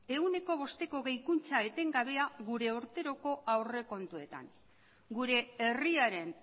ehuneko bosteko gehikuntza etengabea gure urteroko aurrekontuetan gure herriaren